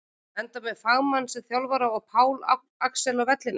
Enda með fagmann sem þjálfara og Pál Axel á vellinum!